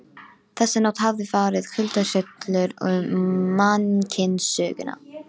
Þessa nótt hafði farið kuldahrollur um mannkynssöguna.